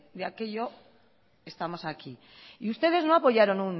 de aquello estamos aquí y ustedes no apoyaron